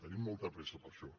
tenim molta pressa per a això